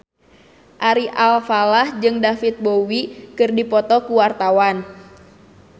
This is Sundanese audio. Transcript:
Ari Alfalah jeung David Bowie keur dipoto ku wartawan